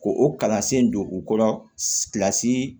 Ko o kalansen don u kɔrɔ kilasi